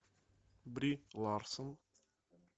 бри ларсон